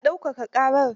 Ya daukaka ƙarar?